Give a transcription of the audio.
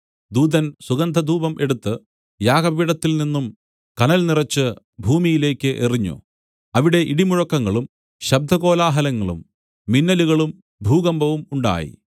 ദൂതൻ സുഗന്ധധൂപം എടുത്തു യാഗപീഠത്തിൽ നിന്നും കനൽ നിറച്ച് ഭൂമിയിലേക്കു എറിഞ്ഞു അവിടെ ഇടിമുഴക്കങ്ങളും ശബ്ദകോലാഹലങ്ങളും മിന്നലുകളും ഭൂകമ്പവും ഉണ്ടായി